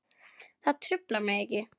Það truflar mig ekki.